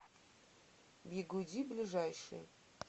бигуди ближайший